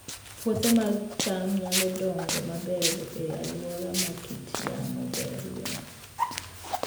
Puothe mag cham nyalo dongo maber e alwora ma kit yamo berie